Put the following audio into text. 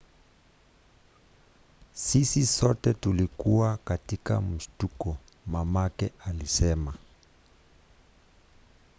"sisi sote tulikuwa tu katika mshtuko, mamake alisema